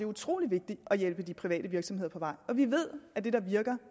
utrolig vigtigt at hjælpe de private virksomheder på vej og vi ved at det der virker